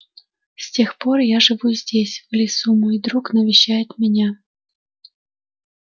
с тех пор я живу здесь в лесу мой друг навещает меня